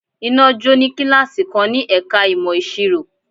Iná jó ní kíláàsì kan ní ẹ̀ka ìmọ̀ ìsirò.